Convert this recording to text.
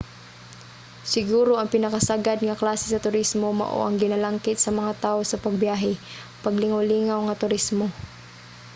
siguro ang pinakasagad nga klase sa turismo mao ang ginalangkit sa mga tao sa pagbiyahe: paglingawlingaw nga turismo